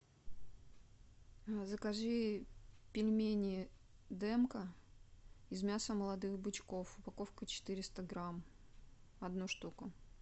закажи пельмени демка из мяса молодых бычков упаковка четыреста грамм одну штуку